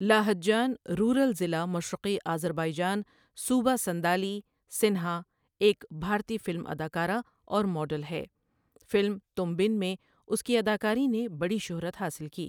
Lahijan rural ضلع مشرقی Azerbaijan صوبہ سَن٘دالی سِنہا ایک بھارتی فلمی اداکارہ اور ماڈل ہے فلم تم بن میں اُس کی اداکاری نے بڑی شہرت حاصل کی